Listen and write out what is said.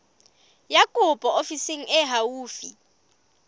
ya kopo ofising e haufi